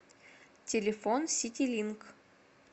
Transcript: телефон ситилинк